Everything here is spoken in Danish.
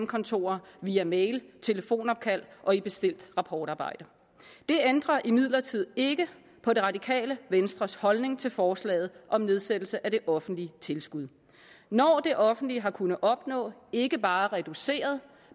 kontorer via mail telefonopkald og i bestilt rapportarbejde det ændrer imidlertid ikke på det radikale venstres holdning til forslaget om nedsættelse af det offentlige tilskud når det offentlige har kunnet opnå ikke bare en reduceret